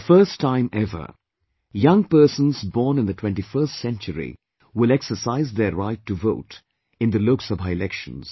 The first time ever, young persons born in the 21st Century will exercise their Right to Vote in the Lok Sabha Elections